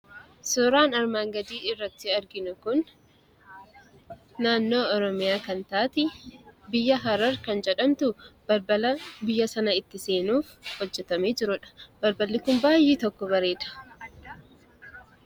Suuraan armaan gadiirratti arginu kun naannoo Oromiyaa kan taate jedhamtu biyya Harar kan taate balbala biyya sana itti seenuuf hojjatamee jirudha. Biyyi kun baay'ee tokko bareeda.